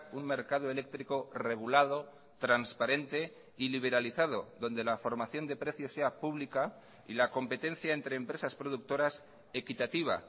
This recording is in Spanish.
un mercado eléctrico regulado transparente y liberalizado donde la formación de precios sea pública y la competencia entre empresas productoras equitativa